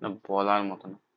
মানে বলার মতন।